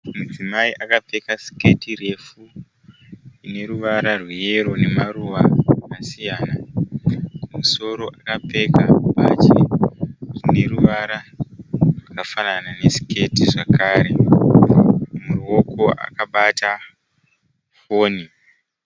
Mudzimai akapfeka siketi refu ine ruvara rweyero nemaruva akasiyana. Kumusoro akapfeka bhachi rine ruvara rwakafanana nesiketi zvakare. Muruoko akabata foni.